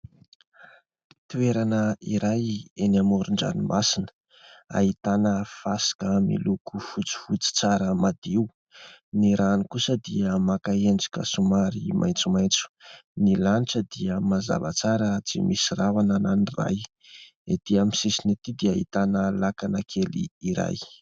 Toerana iray eny amoron-dranomasina : ahitana fasika miloko fotsifotsy tsara madio, ny rano kosa dia maka endrika somary maitsomaitso, ny lanitra dia mazava tsara, tsy misy rahona na ny iray. Etỳ amin'ny sisiny etỳ dia ahitana lakana kely iray.